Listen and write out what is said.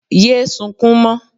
Yé sukún mọ́